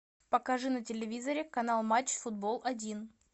покажи на телевизоре канал матч футбол один